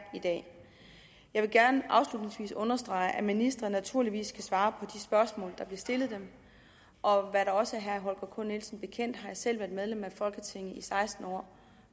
i dag jeg vil gerne afslutningsvis understrege at ministre naturligvis skal svare på de spørgsmål der bliver stillet dem og det også er herre holger k nielsen bekendt har jeg selv været medlem af folketinget i seksten år